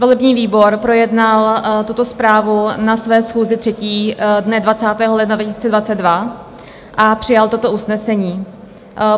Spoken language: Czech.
Volební výbor projednal tuto zprávu na své 3. schůzi dne 20. ledna 2022 a přijal toto usnesení.